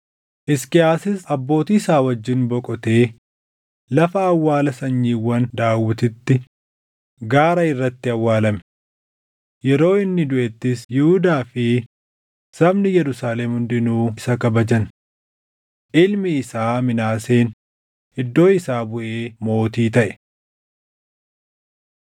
Hisqiyaasis abbootii isaa wajjin boqotee lafa awwaala sanyiiwwan Daawititti gaara irratti awwaalame. Yeroo inni duʼettis Yihuudaa fi sabni Yerusaalem hundinuu isa kabajan. Ilmi isaa Minaaseen iddoo isaa buʼee mootii taʼe.